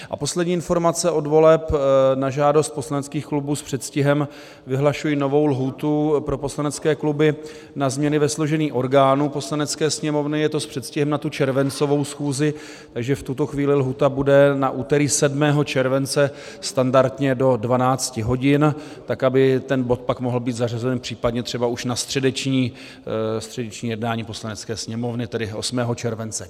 A poslední informace od voleb, na žádost poslaneckých klubů s předstihem vyhlašuji novou lhůtu pro poslanecké kluby na změny ve složení orgánů Poslanecké sněmovny, je to s předstihem na tu červencovou schůzi, takže v tuto chvíli lhůta bude na úterý 7. července standardně do 12 hodin, tak aby ten bod pak mohl být zařazen případně třeba už na středeční jednání Poslanecké sněmovny, tedy 8. července.